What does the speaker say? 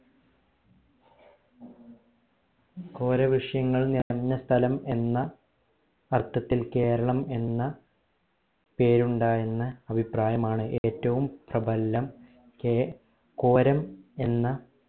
കേരവൃക്ഷങ്ങൾ നിറഞ്ഞ സ്ഥലം എന്ന അർത്ഥത്തിൽ കേരളം എന്ന പേരുണ്ടായി എന്ന അഭിപ്രായമാണ് ഏറ്റവും പ്രബലം കെ കോരം എന്ന